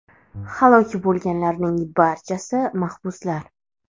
Halok bo‘lganlarning barchasi mahbuslar.